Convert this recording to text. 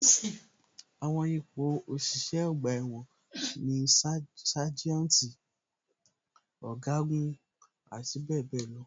Àwọn ipò òṣìṣẹ́ ọgbà ẹ̀wọ̀n ni sájẹ́ùntì, ọ̀gágun, àti bẹẹ bẹẹ lọ.